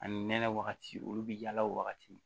Ani nɛnɛ wagati olu bi yaala o wagati